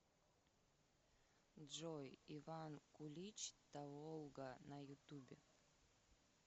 джой иван кулич таволга на ютубе